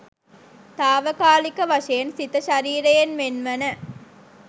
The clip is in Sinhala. තාවකාලික වශයෙන් සිත ශරීරයෙන් වෙන්වන